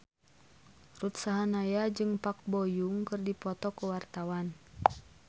Ruth Sahanaya jeung Park Bo Yung keur dipoto ku wartawan